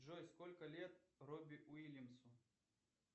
джой сколько лет робби уильямсу